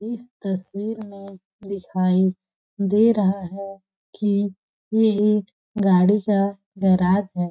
इस तस्वीर में दिखाई दे रहा है कि ये एक गाड़ी का गैराज है।